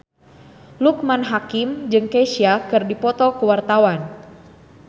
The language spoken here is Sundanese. Loekman Hakim jeung Kesha keur dipoto ku wartawan